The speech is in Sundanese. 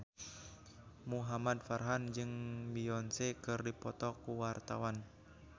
Muhamad Farhan jeung Beyonce keur dipoto ku wartawan